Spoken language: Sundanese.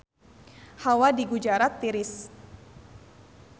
Hawa di Gujarat tiris